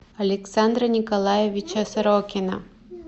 александра николаевича сорокина